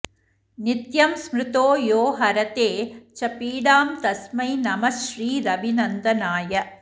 नित्यं स्मृतो यो हरते च पीडां तस्मै नमः श्रीरविनन्दनाय